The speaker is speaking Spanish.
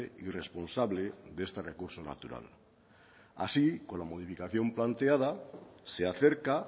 y responsable de este recurso natural así con la modificación planteada se acerca